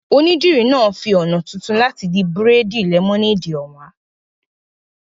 Onídìrí náà fi ọ̀nà tuntun láti di bírèèdì lẹ́mọ́néèdì hàn wá